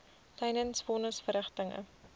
tydens von nisverrigtinge